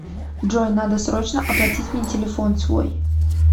джой надо срочно оплатить мне телефон свой